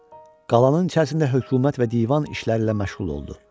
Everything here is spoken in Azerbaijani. Qalanın içərisində hökumət və divan işləri ilə məşğul oldu.